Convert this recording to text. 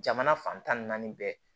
Jamana fan tan ni naani bɛɛ